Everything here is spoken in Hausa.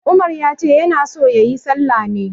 Umar ya ce ya na so ya yi sallah ne.